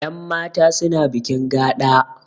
Yan mata suna bikin gaɗa